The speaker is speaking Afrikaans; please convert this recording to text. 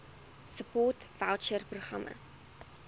support voucher programme